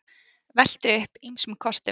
Veltu upp ýmsum kostum